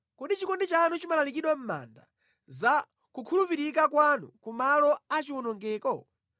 Kodi chikondi chanu chimalalikidwa mʼmanda, za kukhulupirika kwanu ku malo a chiwonongeko?